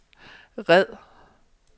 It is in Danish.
red